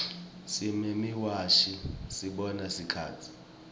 simemawashi sibona sikhatsi